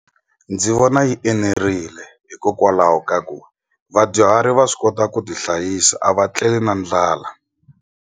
Ndzi vona yi enerile hikokwalaho ka ku vadyuhari va swi kota ku ti hlayisa a va tleli na ndlala.